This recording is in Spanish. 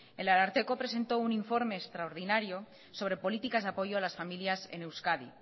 el ararteko presentó un informe extraordinario sobre políticas de apoyo a las familias en euskadi